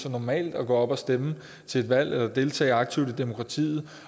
normalt at gå op og stemme til et valg eller deltage aktivt i demokratiet